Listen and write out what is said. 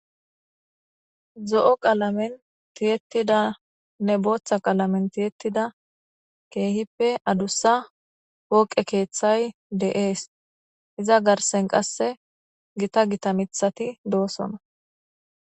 Zo7o qalamen tiyettidanne booththa qalamen tiyettida keehippe adussa pooqe keeththay de7ees. Iza garsen qasse gita gita mithati doosona.